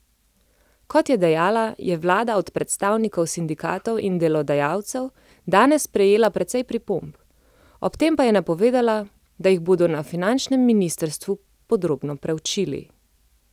Kot je dejala, je vlada od predstavnikov sindikatov in delodajalcev danes prejela precej pripomb, ob tem pa je napovedala, da jih bodo na finančnem ministrstvu podrobno preučili.